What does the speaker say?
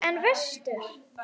En vestur?